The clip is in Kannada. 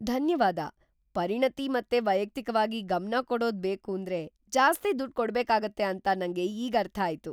ಧನ್ಯವಾದ! ಪರಿಣತಿ ಮತ್ತೆ ವೈಯಕ್ತಿಕವಾಗಿ ಗಮನ ಕೊಡೋದ್ ಬೇಕೂಂದ್ರೆ ಜಾಸ್ತಿ ದುಡ್ಡ್ ಕೊಡ್ಬೇಕಾಗತ್ತೆ ಅಂತ ನಂಗೆ ಈಗ್‌ ಅರ್ಥ ಆಯ್ತು!